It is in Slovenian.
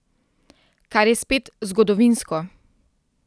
Kar je spet zgodovinsko.